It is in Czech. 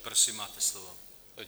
Prosím, máte slovo.